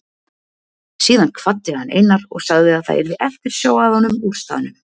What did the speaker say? Síðan kvaddi hann Einar og sagði að það yrði eftirsjá að honum úr staðnum.